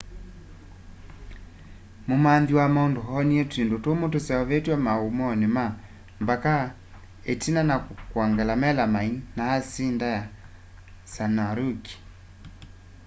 mumanthi wa maundu oonie twindu tumu tuseuvitw'e maumooni ma mbaka itina wa kwongela melamine na asindi ya cyanuric